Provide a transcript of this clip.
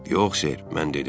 Yox, Ser, mən dedim.